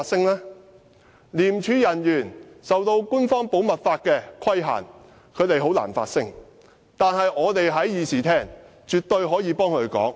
由於廉署人員受官方保密法規限，他們很難發聲，但我們在議事廳內絕對可以替他們發聲。